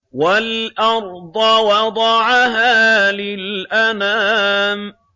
وَالْأَرْضَ وَضَعَهَا لِلْأَنَامِ